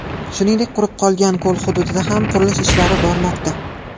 Shuningdek, qurib qolgan ko‘l hududida ham qurilish ishlari bormoqda.